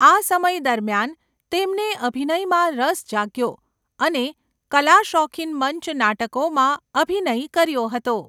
આ સમય દરમિયાન, તેમને અભિનયમાં રસ જાગ્યો અને કલાશોખીન મંચ નાટકોમાં અભિનય કર્યો હતો.